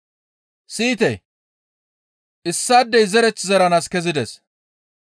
«Siyite! Issaadey zereth zeranaas kezides.